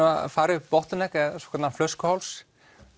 að fara upp flöskuháls